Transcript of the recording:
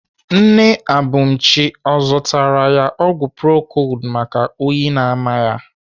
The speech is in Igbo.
Nne Abumchi ọ zụtara ya ọgwụ procold maka oyi na-ama ya?